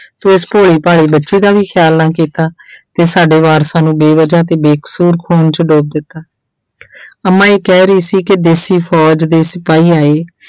ਤੂੰ ਇਸ ਭੋਲੀ ਭਾਲੀ ਬੱਚੀ ਦਾ ਵੀ ਖਿਆਲ ਨਾ ਕੀਤਾ ਤੇ ਸਾਡੇ ਵਾਰਸਾਂ ਨੂੰ ਬੇਵਜਾ ਤੇ ਬੇਕਸੂਰ ਖੂਨ 'ਚ ਡੋਬ ਦਿੱਤਾ ਅੰਮਾ ਇਹ ਕਹਿ ਰਹੀ ਸੀ ਕਿ ਦੇਸੀ ਫ਼ੋਜ਼ ਦੇ ਸਿਪਾਹੀ ਆਏ